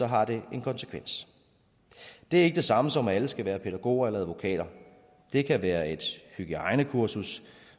har det en konsekvens det er ikke det samme som at alle skal være pædagoger eller advokater det kan være et hygiejnekursus